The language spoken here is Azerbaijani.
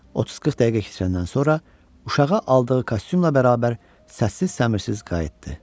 30-40 dəqiqə keçəndən sonra uşağa aldığı kostyumla bərabər səssiz-səmirsiz qayıtdı.